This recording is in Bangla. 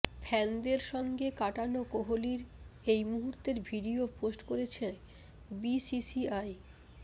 ফ্যানদের সঙ্গে কাটানো কোহলির এই মুহূর্তের ভিডিও পোস্ট করেছে বিসিসিআই